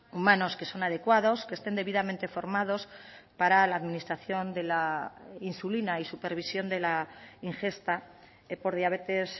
humanos que son adecuados que estén debidamente formados para la administración de la insulina y supervisión de la ingesta por diabetes